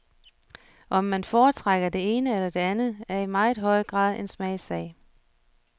Om man foretrækker det ene eller det andet, er i meget høj grad en smagssag.